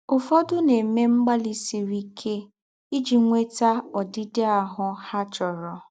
Ū́fọ́dụ̀ nà-èmè mgbàlì sírì íké íjì nwétà ǒdị́dị̀ áhụ́ há chọ̀rọ̀.